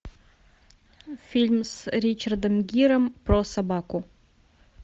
фильм с ричардом гиром про собаку